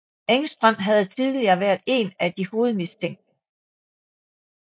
Engström havde tidligere været én af de hovedmistænkte